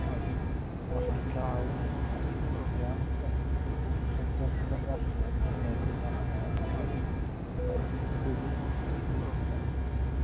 Waxay kaa caawinaysaa yaraynta khatarta ah inay ku dhacaan cudurrada bararka sida arthritis-ka.